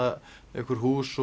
einhver hús